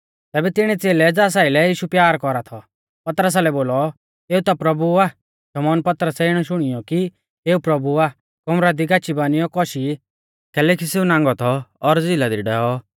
तैबै तिणी च़ेलै ज़ास आइलै यीशु प्यार कौरा थौ पतरसा लै बोलौ एऊ ता प्रभु आ शमौन पतरसै इणौ शुणियौ कि एऊ प्रभु आ कमरा दी गाची बानियौ कौशी कैलैकि सेऊ नांगौ थौ और झ़िला दी डैऔ